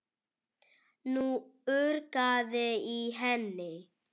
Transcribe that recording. Nú urgaði í henni.